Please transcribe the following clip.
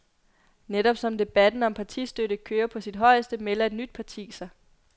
Netop som debatten om partistøtte kører på sit højeste, melder et nyt parti sig.